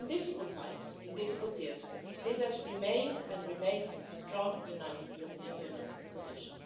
In difficult times in difficult years, this has remained and remains the strong united European Union position.